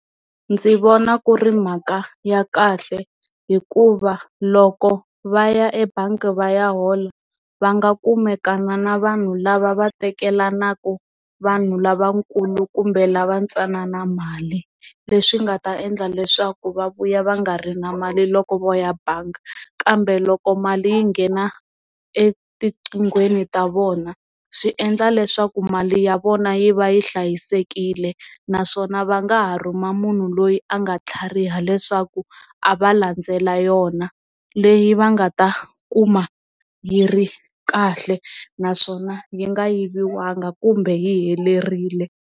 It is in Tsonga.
Ndzi vona ku ri mhaka ya kahle hikuva loko va ya ebangi va ya hola va nga kumeka vana na vanhu lava va teka yelanaka vanhu lavakulu kumbe lava ntsanana mali leswi nga ta endla leswaku va vuya va nga ri na mali loko vo ya bangi kambe loko mali yi nghena etinkingheni ta vona swi endla leswaku mali ya vona yi va yi hlayisekile naswona va nga ha rhuma munhu loyi a nga tlhariha leswaku a va landzela yona leyi va nga ta kuma yi ri kahle naswona yi nga yiviwa banga kumbe yi helerile.